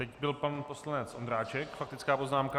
Teď byl pan poslanec Ondráček - faktická poznámka.